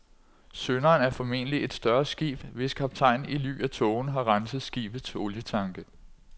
Synderen er formentlig et større skib, hvis kaptajn i ly af tågen har renset skibets olietanke.